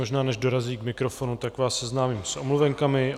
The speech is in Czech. Možná, než dorazí k mikrofonu, tak vás seznámím s omluvenkami.